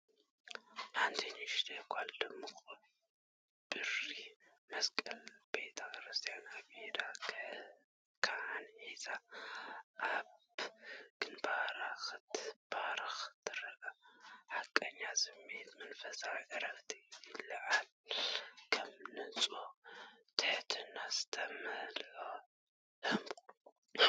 ሓንቲ ንእሽተይ ጓል ድሙቕ ብሪ መስቀል ቤተ ክርስቲያን ኣብ ኢድ ካህን ሒዛ፡ ኣብ ግንባራ ክትባረኽ ትርአ። ሓቀኛ ስምዒት መንፈሳዊ ዕረፍቲ ይለዓዓል፣ ከም ብንጹህ ትሕትና ዝተመልአ ህሞት።